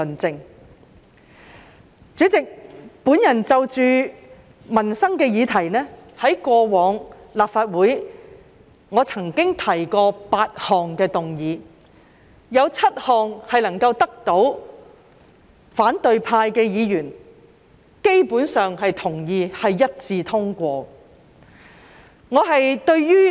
主席，我過往曾就民生的議題，在立法會提出8項議案，當中7項得到反對派議員基本上同意，是一致通過的。